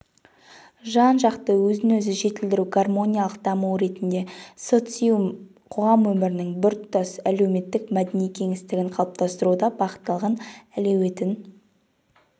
жан-жақты өзін-өзі жетілдіру гармониялық дамуы ретінде социум қоғам өмірінің біртұтас әлеуметтік-мәдени кеңістігін қалыптастыруға бағытталған әлеуетін